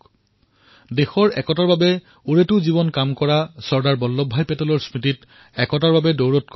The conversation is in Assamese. একতাৰ বাবে দৌৰ এয়াইতো চৰ্দাৰ চাহাবৰ তেওঁক স্মৰণ কৰাৰ উত্তম পথ কাৰণ তেওঁ সমগ্ৰ জীৱন দেশৰ একতাৰ বাবে কাম কৰিলে